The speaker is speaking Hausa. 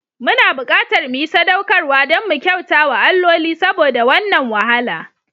Muna buƙatar mu yi sadaukarwa don mu kyauta wa alloli saboda wannan wahala.